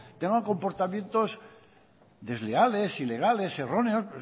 tenga comportamientos desleales ilegales erróneos